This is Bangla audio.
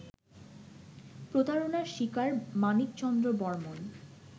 প্রতারণার শিকার মানিক চন্দ্র বর্মন